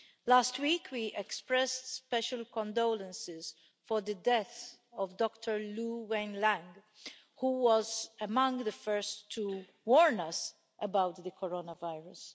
Last week we expressed special condolences for the death of Dr Li Wenliang, who was among the first to warn us about the coronavirus.